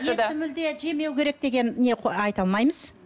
етті мүлде жемеу керек деген не айта алмаймыз